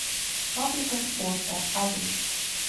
фабрика спорта адрес